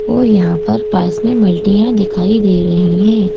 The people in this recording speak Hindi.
और यहां पर पास में बाल्टीयाँ दिखाई दे रही है।